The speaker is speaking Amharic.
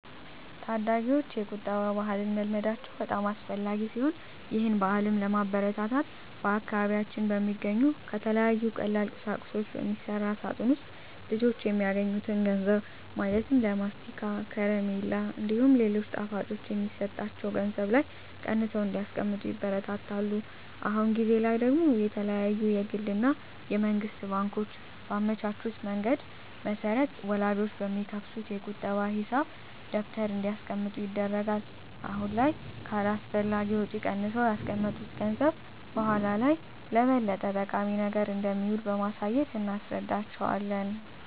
ታዳጊወች የቁጠባ ባህልን መልመዳቸው በጣም አስፈላጊ ሲሆን ይህን ባህልም ለማበረታታት በአካባቢያችን በሚገኙ ከተለያዩ ቀላል ቁሳቁሶች በሚሰራ ሳጥን ውስጥ ልጆች የሚያገኙትን ገንዘብ ማለትም ለማስቲካ፣ ከረሜላ እንዲሁም ሌሎች ጣፋጮች የሚሰጣቸው ገንዘብ ላይ ቀንሰው እንዲያስቀምጡ ይበረታታሉ። አሁን ጊዜ ላይ ደግሞ የተለያዩ የግል እና የመንግስት ባንኮች ባመቻቹት መንገድ መሰረት ወላጆች በሚከፍቱት የቁጠባ ሂሳብ ደብተር እንዲያስቀምጡ ይደረጋል። አሁን ላይ ከአላስፈላጊ ወጪ ቀንሰው ያስቀመጡት ገንዘብ በኃላ ላይ ለበለጠ ጠቃሚ ነገር እንደሚውል በማሳየት እናስረዳቸዋለን።